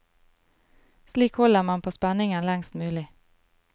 Slik holder man på spenningen lengst mulig.